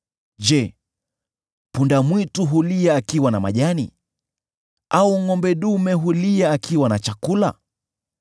Je, punda-mwitu hulia akiwa na majani, au ngʼombe dume hulia akiwa na chakula?